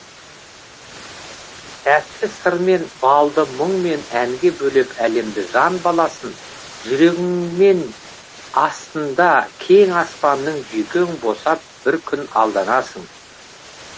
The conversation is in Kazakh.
тәтті сырмен балды мұңмен әнге бөлеп әлемді жан баласын жүрегіңмен астында кең аспанның жүйкең босап бір күні алданасың